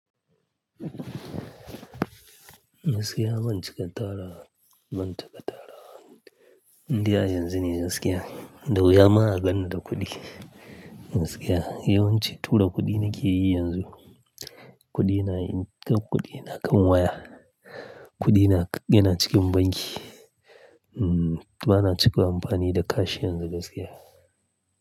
Gaskiya ban cika tara, ban cika tarawa. Indai a yanzu ne gaskiya, da wuya ma a ganni da kuɗi gaskiya. Yawanci tura kuɗi nake yi yanzu, kuɗi na yin, kuɗi na kan waya, kuɗi na, yana cikin banki. Hmm ba na cika amfani da cash yanzu gaskiya.